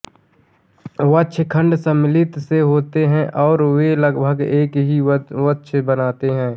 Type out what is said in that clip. वक्षखंड संमिलित से होते हैं और वे लगभग एक ही वक्ष बनाते हैं